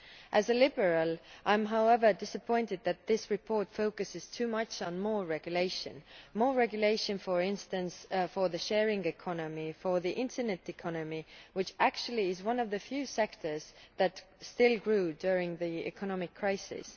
As a Liberal I am, however, disappointed that this report focuses too much on more regulation more regulation, for instance, for the sharing economy, for the internet economy, which is actually one of the few sectors that still grew during the economic crisis.